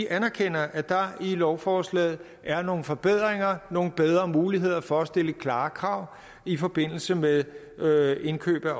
anerkender at der i lovforslaget er nogle forbedringer nogle bedre muligheder for at stille klare krav i forbindelse med med indkøb af